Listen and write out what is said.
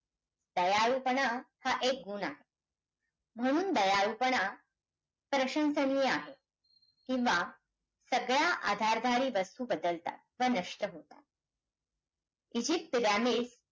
असंतोष दूर करणे शक्य आहे ती दृष्टी